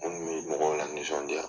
munun be mɔgɔw la nisɔndiya.